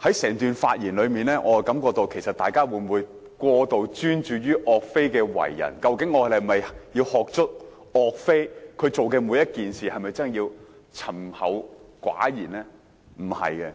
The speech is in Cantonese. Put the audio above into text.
但在他們整段發言中，我認為大家似乎過度專注岳飛的為人，究竟我們應否十足學習岳飛做每件事情的方式，以及沉厚寡言的性格？